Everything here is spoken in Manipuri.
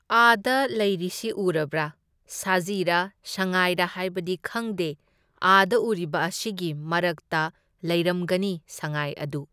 ꯑꯥꯗ ꯂꯩꯔꯤꯁꯤ ꯎꯔꯕ꯭ꯔꯥ? ꯁꯖꯤꯔꯥ ꯁꯉꯥꯏꯔꯥ ꯍꯥꯢꯕꯗꯤ ꯈꯪꯗꯦ, ꯑꯥꯗ ꯎꯔꯤꯕ ꯑꯁꯤꯒꯤ ꯃꯔꯛꯇ ꯂꯩꯔꯝꯒꯅꯤ ꯁꯉꯥꯏ ꯑꯗꯨ꯫